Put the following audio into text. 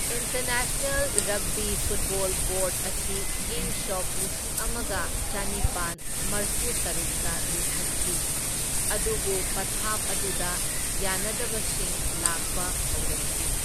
International rugby football ꯕꯣꯔꯗ ꯑꯁꯤ ꯏꯪ ꯁꯣꯛ ꯂꯤꯁꯤꯡ ꯑꯃꯒ ꯆꯅꯤꯄꯥꯟ ꯃꯔꯐꯨꯇꯔꯨꯛꯇ ꯂꯤꯡꯈꯠꯈꯤ, ꯑꯗꯨꯕꯨ ꯄꯊꯥꯞ ꯑꯗꯨꯗ ꯌꯥꯅꯗꯕꯁꯤꯡ ꯂꯥꯛꯄ ꯍꯧꯔꯛꯈꯤ꯫